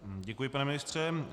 Děkuji, pane ministře.